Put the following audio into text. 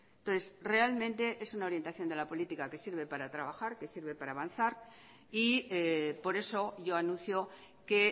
entonces realmente es una orientación de la política que sirve para trabajar que sirve para avanzar y por eso yo anuncio que